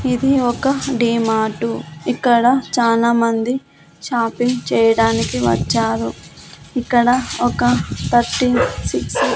ఇది ఒక డీ-మార్టు . ఇక్కడ చాలామంది షాపింగ్ చేయడానికి వచ్చారు. ఇక్కడ ఒక తర్టీన్ సిక్స్ --